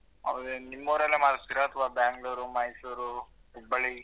ಹೌದಾ ನಿಮ್ ಊರಲ್ಲೇ ಮಾಡ್ತಿರ ಅಥವಾ ಬೆಂಗಳೂರು ಮೈಸೂರ್ ಹುಬ್ಬಳ್ಳಿ ?